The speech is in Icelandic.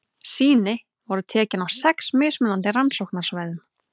Sýni voru tekin á sex mismunandi rannsóknarsvæðum.